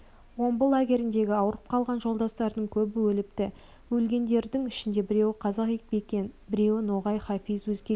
омбы лагеріндегі ауырып қалған жолдастардың көбі өліпті өлгендердің ішінде біреуі қазақ бәкен біреуі ноғай хафиз өзгелері